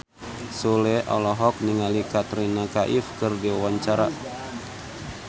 Sule olohok ningali Katrina Kaif keur diwawancara